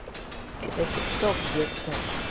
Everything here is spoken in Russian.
это тик ток детка